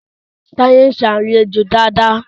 Taye nṣe alejò Dàda.